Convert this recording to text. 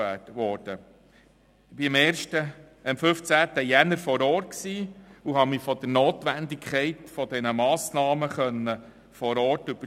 Am 15. Januar war ich vor Ort und habe mich von der Notwendigkeit der Massnahmen überzeugen lassen.